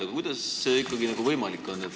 Aga kuidas see ikkagi võimalik on?